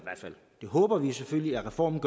det håber vi selvfølgelig at reformen